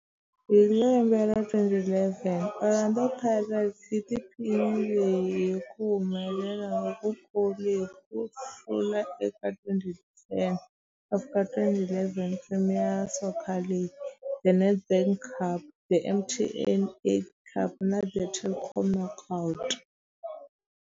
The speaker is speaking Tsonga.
Hi lembe ra 2011, Orlando Pirates yi tiphinile hi ku humelela lokukulu hi ku hlula eka 2010 ku fika 2011 Premier Soccer League, The Nedbank Cup, The MTN 8 Cup na The Telkom Knockout.